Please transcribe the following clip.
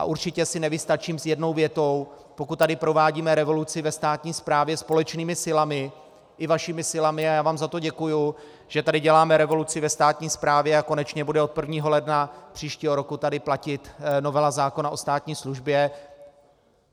A určitě si nevystačím s jednou větou, pokud tady provádíme revoluci ve státní správě společnými silami, i vašimi silami, a já vám za to děkuju, že tady děláme revoluci ve státní správě a konečně bude od 1. ledna příštího roku tady platit novela zákona o státní službě.